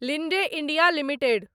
Linde India limited